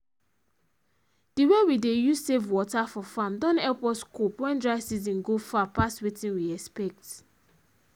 the way we dey use save water for farm don help us cope when dry season go far pass wetin we expect